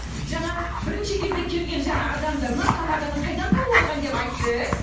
жаңа бірінші кезде келген жаңа адамдар мына тамаданы қайдан тауып алған деп айтты